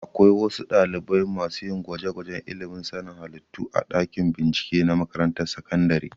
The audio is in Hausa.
Akwai wasu ɗalibai masu yin gwajegwajen ilimin sanin halittu a dakin bincike na makarantar sakandare